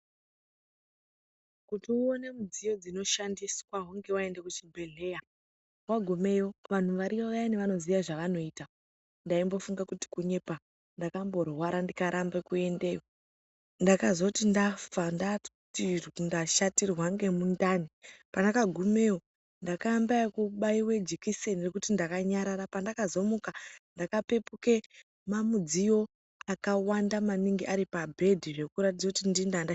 Kuti uone midziyo dzinoshandiswa hunge waende kuchibhehleya wagumeyo vanhu variyo vayani vanoziya zvevanoita ndaimbofunga kuti kunyepa ndakamborwara ndikarambe kuendeyo ndakazoti ndafa ndashatirwe ngemundani pandagumeyo ndakaamba ngekubaiwe jikiseni rekuti ndakanyarara pandakazomuka ndakapepuke mamidziyo akawanda maningi aripabhedhi zvekuratidze kuti ndini ndanga ndeirapwa.